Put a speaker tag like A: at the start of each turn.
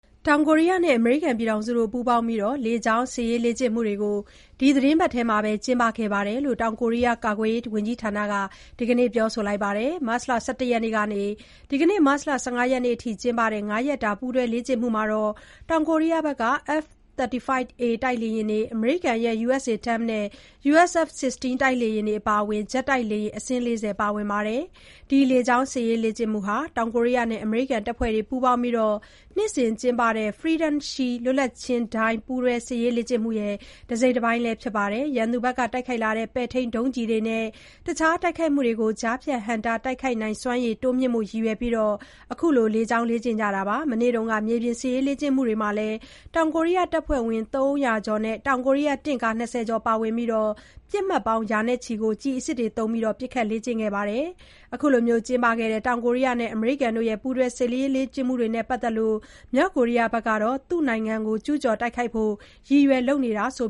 A: တောင်ကိုရီးယားနဲ့ အမေရိကန် ပူးပေါင်းပြီး လေကြောင်းစစ်ရေးလေ့ကျင့်မှုတွေ ဒီသတင်းပတ်ထဲ ကျင်းပခဲ့တဲ့အကြောင်း တောင်ကိုရီးယား ကာကွယ်ရေးဝန်ကြီးဌာနက ဒီကနေ့ ပြောပါတယ်။ မတ်လ ၁၁ ရက်နေ့ကနေ ဒီကနေ့ ၁၅ ရက်နေ့အထိ ကျင်းပတဲ့ ၅ ရက်ကြာ ပူးတွဲ လေ့ကျင့်မှုတွေမှာ တောင်ကိုရီးယား F-35A တိုက်လေယာဉ်တွေ၊ အမေရိကန် U.S A-10 နဲ့ U.S F-16 တိုက်လေယာဉ်တွေ အပါအဝင် ဂျက်တိုက်လေယာဉ် အစင်း ၄၀ ပါဝင်ပါတယ်။ ဒီလေကြောင်း စစ်ရေးလေ့ကျင့်မှုဟာ တောင်ကိုရီးယားနဲ့ အမေရိကန်တပ်ဖွဲ့တွေ ပူးပေါင်းပြီး နှစ်စဥ်ကျင်းပတဲ့ Freedom Shield (လွတ်လပ်ခြင်းဒိုင်း) ပူးတွဲ စစ်ရေးလေ့ကျင့်မှု တစိတ်တပိုင်းလည်း ဖြစ်ပါတယ်။ ရန်သူဘက်က တိုက်ခိုက်လာတဲ့ ပဲ့ထိန်းဒုံးကျည်နဲ့ တခြား တိုက်ခိုက်မှုကို ကြားဖြတ် ဟန့်တား တိုက်ခိုက်နိုင်စွမ်းရည် တိုးမြှင့်ဖို့ ရည်ရွယ်ပြီး အခု လေကြောင်းလေ့ကျင့်မှုကို လုပ်ခဲ့တာပါ။ မနေ့က မြေပြင်စစ်ရေး လေ့ကျင့်မှုတွေမှာလည်း တောင်ကိုရီးယား တပ်ဖွဲ့ဝင် ၃၀၀ ကျော်နဲ့ တောင်ကိုရီးယား တင့်ကား ၂၀ ကျော် ပါဝင်ပြီး ပစ်မှတ်ပေါင်း ရာချီကို ကျည်အစစ်တွေသုံးပြီး ပစ်ခတ် လေ့ကျင့်ခဲ့ကြပါတယ်။ မတ်လ ၅ ရက်နေ့ကနေ ၁၄ ရက်နေ့အထိ ကျင်းပခဲ့တဲ့ တောင်ကိုရီးယားနဲ့ အမေရိကန် ပူးတွဲ စစ်ရေးလေ့ကျင့်မှုတွေနဲ့ ပတ်သက်လို့ မြောက်ကိုရီးယား ကတော့ သူ့နိုင်ငံကို ကျူးကျော် တိုက်ခိုက်ဖို့ ရည်ရွယ်လုပ်နေတာလို့